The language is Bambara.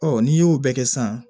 Ɔ n'i y'o bɛɛ kɛ sisan